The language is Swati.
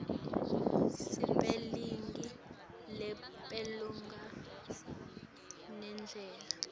sipelingi lupelomagama nendlela